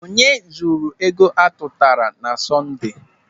Onye zuru ego atụtara na Sọnde?